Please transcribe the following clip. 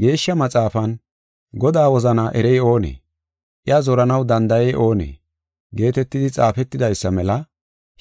Geeshsha Maxaafan, “Godaa wozana erey oonee? Iya zoranaw danda7ey oonee?” geetetidi xaafetidaysa mela.